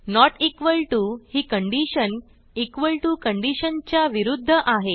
note equal to ही condition equal to condition च्या विरूध्द आहे